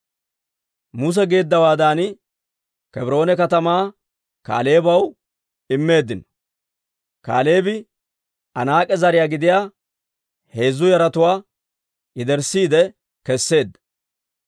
Muse geeddawaadan, Kebroone katamaa Kaaleebaw immeeddino; Kaaleebi Anaak'e zariyaa gidiyaa heezzu yaratuwaa yederssiide kesseedda.